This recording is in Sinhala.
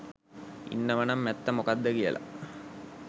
ඉන්නවනම් ඇත්ත මොකක්ද කියලා